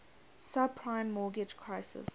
subprime mortgage crisis